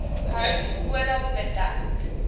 hout oral bedek